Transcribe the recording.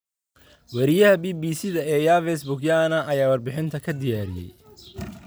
Weriyaha BBC-da ee Yves Bucyana ayaa warbixintan ka diyaariyay.